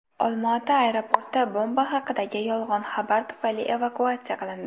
Olmaota aeroporti bomba haqidagi yolg‘on xabar tufayli evakuatsiya qilindi.